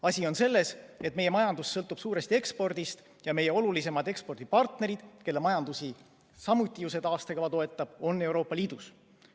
Asi on selles, et meie majandus sõltub suuresti ekspordist ja meie olulisemad ekspordipartnerid, kelle majandust samuti see taastekava toetab, on Euroopa Liidus.